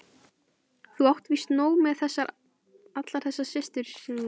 Þú átt víst nóg með allar þessar systur sem þú þarf sífellt vera að barna.